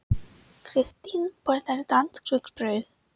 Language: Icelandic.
Kristín borðar danskt rúgbrauð.